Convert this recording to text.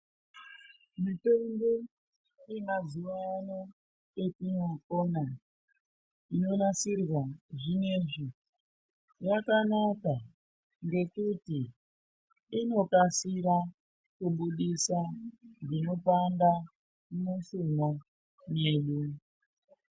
Mitombo yemazuva ano yetinopona inonasirwa zvinoizvi. Yakanaka ngekuti inokasira kubudisa zvinopanda mushuna medu.